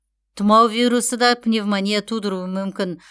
тұмау вирусы да пневмония тудыруы мүмкін